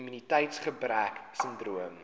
immuniteits gebrek sindroom